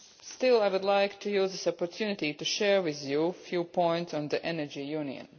Still, I would like to use this opportunity to share with you a few points on the Energy Union.